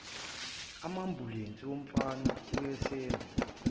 ambulensi umfana owayesemi